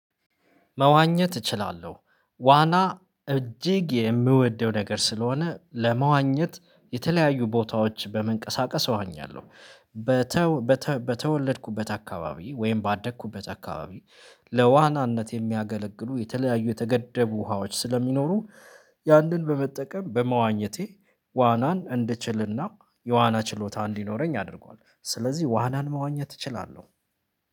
መዋኘት እችላለሁ ዋና እጅግ የምወደው ነገር ስለሆነ ለመዋኘት የተለያዩ ቦታዎች በመንቀሳቀስ እዋኛለሁ። በተወለድኩበት አካባቢ ወይም ባደኩበት አካባቢ ለዋናነት የሚያገለግሉ የተለያዩ የተገደቡ ውሃዎች ስለሚኖሩ ያንን በመጠቀም በመዋኘቴ ዋናን እንድችልና የዋና ችሎታ እንዲኖረኝ አድርጓል ስለዚህ ዋናን መዋኘት እችላለሁ